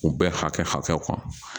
U bɛɛ hakɛ kɔnɔ